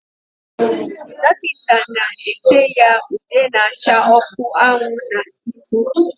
Dọkịta na-ete ya ude na-acha ọkụ anwụ na ihu.